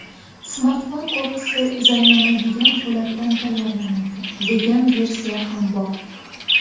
Smartfon korpusi zanglamaydigan po‘latdan tayyorlanadi, degan versiya ham bor.